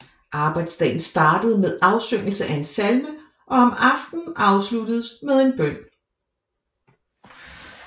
Arbejdsdagen startede med afsyngelse af en salme og om aftenen afsluttedes med en bøn